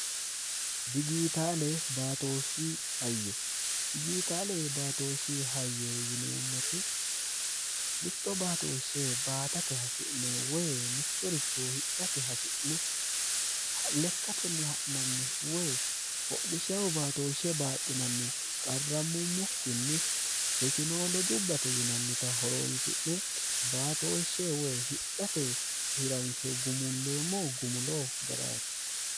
dijiitaale baatooshi hayyo dijiitaale baatooshi hayyo yineemmoti mitto baatooshshe baatate hasi'ne woy mittoricho hidhate hasi'ne lekkatenni ha'nanni woy hodhishahu baatooshshe baaxxinanni qarrammummokkinni tekinoo lojubbate yinannita horoonsi'ne baatooshshe woy hidhate hiransho gumulleemmo gumulo ga'raati